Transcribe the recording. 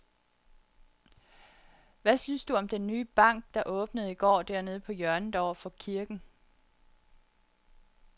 Hvad synes du om den nye bank, der åbnede i går dernede på hjørnet over for kirken?